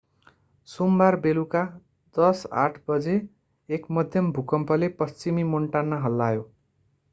सोमबार बेलुका 10:08 बजे एक मध्यम भूकम्पले पश्चिमी मोन्टाना हल्लायो